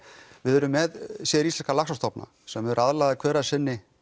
við erum með séríslenska laxastofna sem eru aðlagaðir hver að sinni